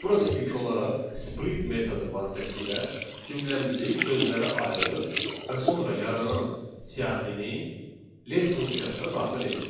Burada ilk olaraq split metodu vasitəsilə cümləmizi sözlərə ayırırıq və sonra yaranan siyahini len funksiyasına daxil edirik.